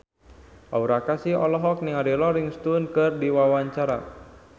Aura Kasih olohok ningali Rolling Stone keur diwawancara